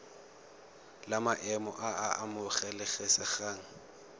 la maemo a a amogelesegang